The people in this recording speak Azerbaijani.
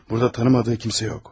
Burada tanımadığı kimsə yox.